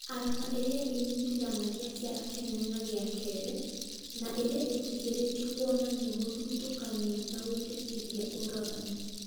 arama ĩrĩa ĩnyitithanagia kĩara kĩnene na gĩa kerĩ na ĩrĩa ĩtĩkĩrĩtio kũonania mũthutũkanio nagwĩtĩkĩria ũragani